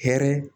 Hɛrɛ